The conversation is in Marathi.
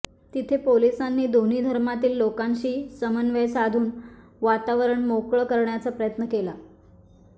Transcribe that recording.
तिथे पोलीसांनी दोन्ही धर्मातील लोकांशी समन्वय साधून वातावरण मोकळं करण्याचा प्रयत्न केला